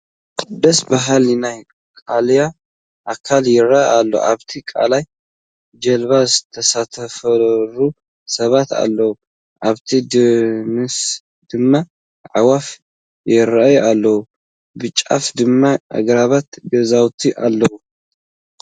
ደስ በሃሊ ናይ ቃላይ ኣካል ይርአ ኣሎ፡፡ ኣብቲ ቃላይ ጀልባ ዝተሳፈሩ ሰባት ኣለዉ፡፡ ኣብቲ ደንደሱ ድማ ኣዕዋፍ ይርአያ ኣለዋ፡፡ ብጫፍ ድማ ኣግራብን ገዛውትን እኔዉ፡፡